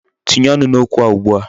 Tinye ọnụ n'okwu a ugbu a.